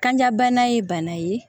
Kanja bana ye bana ye